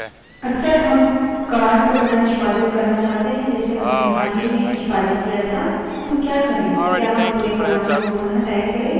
अक्सर हम command को पुनः निष्पादित करना चाहते हैं जिसे हमने हाल ही में निष्पादित किया था हम क्या करे क्या हम पुरे command को पुन: type करे